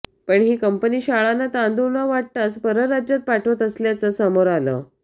पण ही कंपनी शाळांना तांदूळ न वाटताच परराज्यात पाठवत असल्याचं समोर आलं